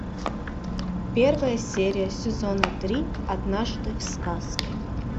первая серия сезона три однажды в сказке